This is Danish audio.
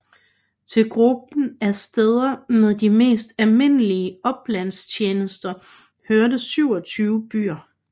Til gruppen af steder med de mest almindelige oplandstjenester hørte 27 byer